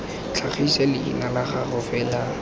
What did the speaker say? tlhagise leina la gago fela